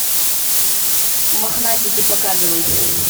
мохнатики показывай